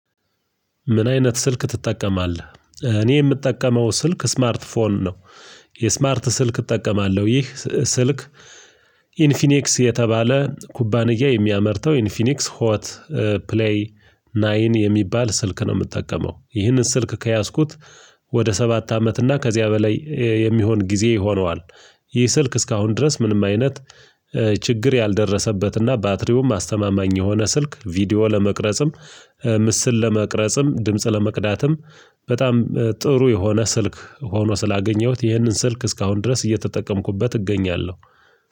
ምን? አይነት ስልክ ትጠቀማለህ እኔ ምጠቀመው ስልክ ስማርት ፎን ነው። የስማርት ስልክ እጠቀማለው ይህ ስልክ። ኢንፊኔክስ የተባለ ኩባንያ የሚያመርተው ኢንፊኒክስ ሆት ፕለይ ናይን የሚባል ስልክ ነው። ምጠቀመው ይህንን ስልክ ከያዝኩት ወደ ሰባት አመት እና ከዚያ በላይ የሚሆን ጊዜ ሆኗል። ይህ ስልክ እስካሁን ድረስ ምንም አይነት ችግር ያልደረሰበትና ባትሪውም አስተማማኝ የሆነ ስልክ ቪዲዮ ለመቅረጽም ምስል ለመቅረጽም ድምጽ ለመቅዳትም በጣም ጥሩ የሆነ ስልክ ሆኖ ስላገኘሁት ይህንን ስልክ እስካሁን ድረስ እየተጠቀምኩበት እገኛለው።